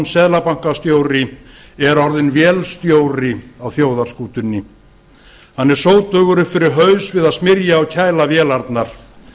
seðlabankastjóri er orðinn vélstjóri á þjóðarskútunni hann er sótugur upp fyrir haus við að smyrja og kæla vélarnar